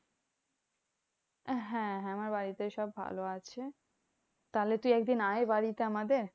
হ্যাঁ হ্যাঁ আমার বাড়িতে সব ভালো আছে। তাহলে তুই একদিন আয় বাড়িতে আমাদের।